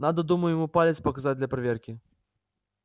надо думаю ему палец показать для проверки